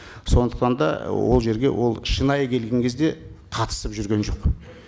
сондықтан да ол жерге ол шынайы келген кезде қатысып жүрген жоқ